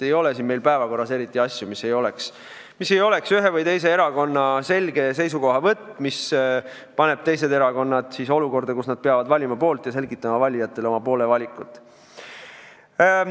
Ei ole meil päevakorras eriti asju, mis ei oleks ühe või teise erakonna selge seisukohavõtt, mis paneb teised erakonnad olukorda, kus nad peavad valima poole ja selgitama valijatele oma valikut.